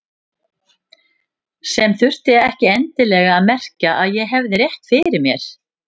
Sem þurfti ekki endilega að merkja að ég hefði rétt fyrir mér.